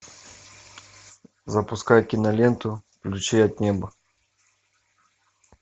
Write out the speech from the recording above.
запускай киноленту ключи от неба